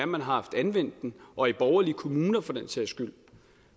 man har anvendt den og i borgerlige kommuner for den sags skyld